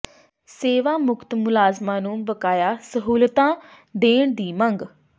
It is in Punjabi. ਸੇਵਾ ਮੁਕਤ ਮੁਲਾਜ਼ਮਾਂ ਨੂੰ ਬਕਾਇਆ ਸਹੂਲਤਾਂ ਦੇਣ ਦੀ ਮੰਗ